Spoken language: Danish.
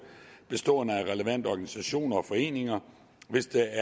bestående af relevante organisationer og foreninger hvis der